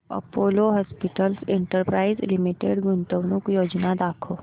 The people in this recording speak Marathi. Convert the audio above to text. अपोलो हॉस्पिटल्स एंटरप्राइस लिमिटेड गुंतवणूक योजना दाखव